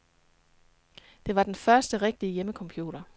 Det var den første rigtige hjemmecomputer.